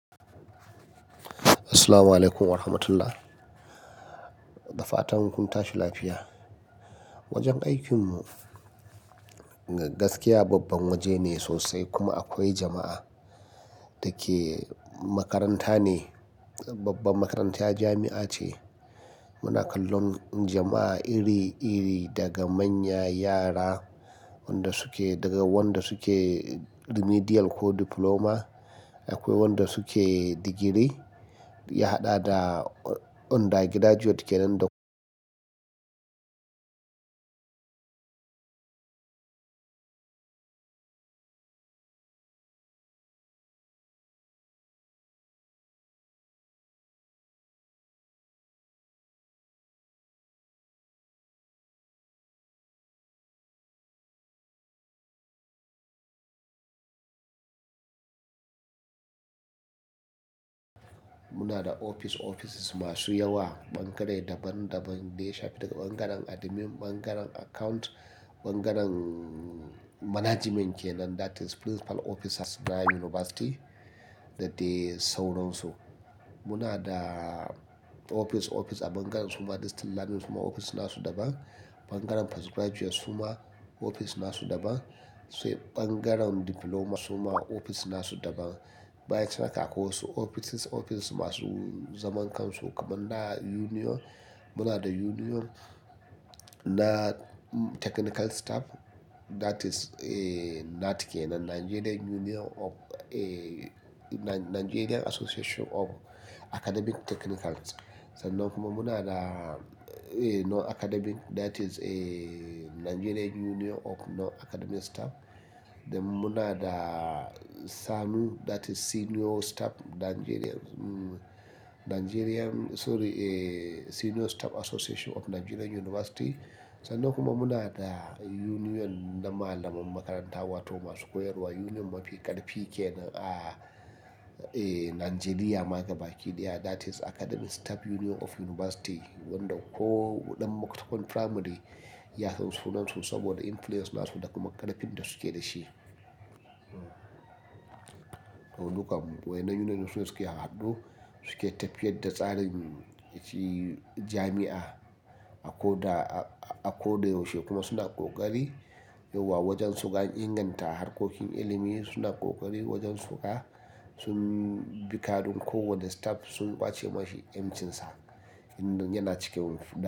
Assalamu alaikum wa rahmatullah. Da fatan kun tashi lafiya. Wajen aikinmu gaskiya babban waje ne sosai kuma akwai jama'a da ke makaranta ne, babbar makarantar jami'a ce. Muna kallon jama'a iri iri daga manya yara wanda suke daga wanda suke remedial ko diploma. Akwai wanda suke digiri ya haɗa da under graduate kenan da. Muna da ofis-ofis masu yawa, ɓangare daban-daban daya shafi daga ɓangaren admin, ɓangaren account, ɓangaren management kenan that is principal officers na yunivasiti da dai sauransu. Muna da ofis-ofis a ɓangaren su ma distant learning su ma ofis na su daban. Ɓangaren post graduate su ma ofis na su daban. Sai ɓangaren diploma su ma ofis na su daban. Bayan can haka akwai wasu ofisis ofis masu zaman kansu kamar na union. Muna da union na technical staff that is NAAT kenan, Nigerian Union of-- eh, Nigerian Association of Academic Technicals. Sannan kuma muna da eh, non academic that is eh, Nigerian Union of Non Academic Staff. Then muna da SSANU, that is Senior Staff Nigerian, Nigerian sorry, eh, Senior Staff Association of Nigerian University. Sannan kuma muna da union na malaman makaranta wato masu koyarwa union mafi karfi kenan a eh, Nigeria ma ga baki daya that is Academic Staff Union of University wanda ko dan makarantar primary ya san sunan su saboda interest na su da karfin da suke da shi to dukan mu wa'yannan union din su ne suke haɗu, suke tafiyar da tsarin shi jami'a akoda, akoda yaushe kuma suna ƙoƙari yauwa wajen suga inganta harkokin ilimi. Suna ƙoƙari wajen suga sun bi kaɗun kowane staff sun ƙwace mashi yancin sa inda yana ciki wurin.